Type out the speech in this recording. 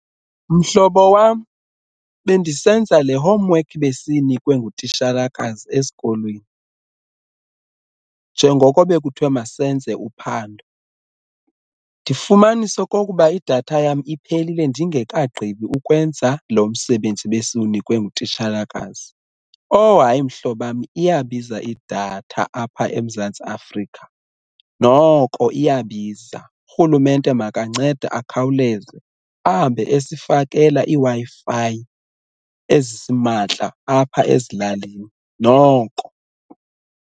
Mhlobo wam, bendisenza le homework besiyinikwe ngutishalakazi esikolweni njengoko bekuthwe masenze uphando ndifumanisa okokuba idatha yam iphelile ndingekagqibi ukwenza lo msebenzi besiwunikwe ngutishalakazi. Oh hayi, mhlobam, iyabiza idatha apha eMzantsi Afrika noko iyabiza urhulumente makancede akhawuleze ahambe esifakela iiWi-Fi ezisimahla apha ezilalini noko.